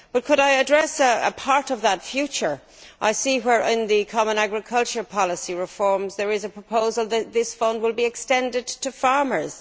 But could I address a part of that future? I see in the common agricultural policy reforms that there is a proposal that this fund will be extended to farmers.